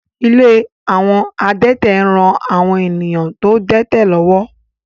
Ilé àwọn adẹ́tẹ̀ ń ran àwọn èèyàn tó dẹ́tẹ̀ lọ́wọ́